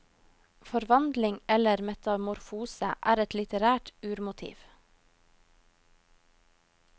Forvandling eller metamorfose er et litterært urmotiv.